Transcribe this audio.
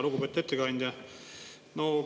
Lugupeetud ettekandja!